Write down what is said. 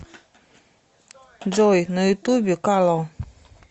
джой на ютубе ка ло